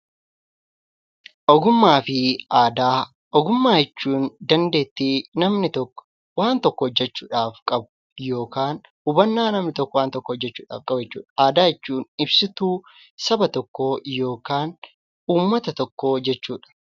Ogummaa fi aadaa Ogummaa jechuun dandeettii namni tokko waan tokko hojjechuudhaaf qabu yookaan hubannaa namni tokko waan tokko hojjechuudhaaf qabu jechuudha. Aadaa jechuun ibsituu saba tokkoo yookiin uummata tokkoo jechuudha.